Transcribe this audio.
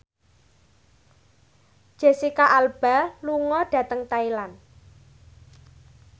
Jesicca Alba lunga dhateng Thailand